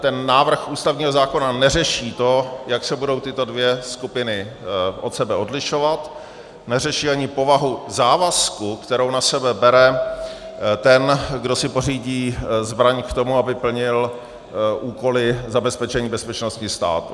Ten návrh ústavního zákona neřeší to, jak se budou tyto dvě skupiny od sebe odlišovat, neřeší ani povahu závazku, kterou na sebe bere ten, kdo si pořídí zbraň k tomu, aby plnil úkoly zabezpečení bezpečnosti státu.